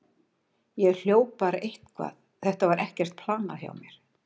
Ég hljóp bara eitthvað, þetta var ekkert planað hjá mér.